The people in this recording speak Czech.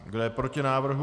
Kdo je proti návrhu?